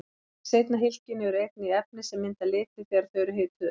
Í seinna hylkinu eru einnig efni sem mynda liti þegar þau eru hituð upp.